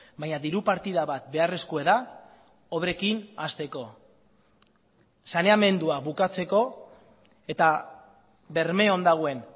baina diru partida bat beharrezkoa da obrekin hasteko saneamendua bukatzeko eta bermeon dagoen